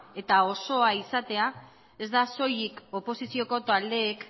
eta osoa izatea ez da soilik oposizioko taldeek